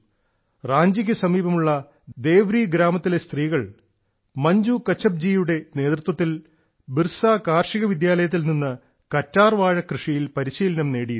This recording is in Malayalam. റാഞ്ചിക്ക് സമീപമുള്ള ദേവ്രി ഗ്രാമത്തിലെ സ്ത്രീകൾ ശ്രീമതി മഞ്ജു കച്ചപ്പിന്റെ നേതൃത്വത്തിൽ ബിർസ കാർഷിക വിദ്യാലയത്തിൽനിന്ന് കറ്റാർവാഴ കൃഷിയിൽ പരിശീലനം നേടിയിരുന്നു